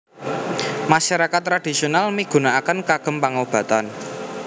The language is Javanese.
Masyarakat tradhisional migunakaken kagem pangobatan